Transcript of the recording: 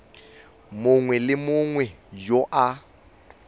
mongwe le mongwe yo a